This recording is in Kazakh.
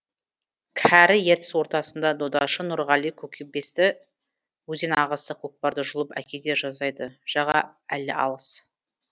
кәрі ертіс ортасында додашы нұрғали көкбесті өзен ағысы көкпарды жұлып әкете жаздайды жаға әлі алыс